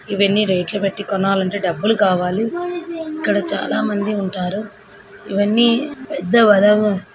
ఇవ్వన్నీ రేట్లు పెట్టి కొనాలంటే డబ్బులు కావాలి ఇక్కడ చాల మంది ఉంటారు ఇవ్వన్నీ పెద్దరవ --